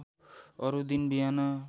अरू दिन बिहान